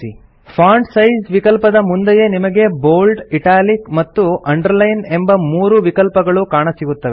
font size ವಿಕಲ್ಪದ ಮುಂದೆಯೇ ನಿಮಗೆ ಬೋಲ್ಡ್ ಇಟಾಲಿಕ್ ಮತ್ತು ಅಂಡರ್ಲೈನ್ ಎಂಬ ಮೂರು ವಿಕಲ್ಪಗಳು ಕಾಣಸಿಗುತ್ತವೆ